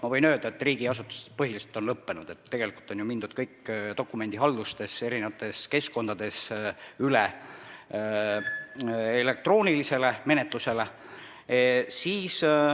Ma võin öelda, et riigiasutustes see on põhiliselt lõppenud, tegelikult on ju dokumendihaldus viidud erinevatesse keskkondadesse, menetlus on elektrooniline.